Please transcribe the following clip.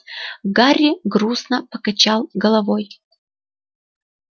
гарри грустно покачал головой